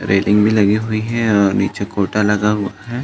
Railing भी लगी हुई हैं और निचे कोटा लगा हुआ है।